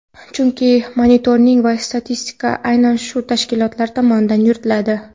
Chunki monitoring va statistika aynan shu tashkilotlar tomonidan yuritiladi.